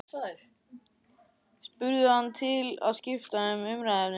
spurði hann til að skipta um umræðuefni.